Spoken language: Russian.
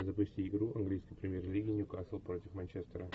запусти игру английской премьер лиги ньюкасл против манчестера